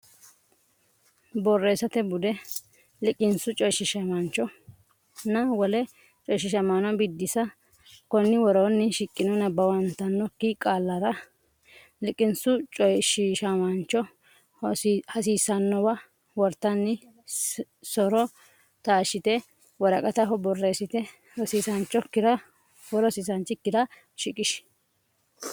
Borreessate Bude: Liqinsu Coyshiishamaanchonna Wole Coyshiishamaano Biddissa Konni woroonni shiqqino, nabbawantannokki qaallara liqinsu coyshiishamaancho hasiissannowa wortanni so’ro taashshite woraqataho borreessite rosiisaanchi(o)kkira shiqishi.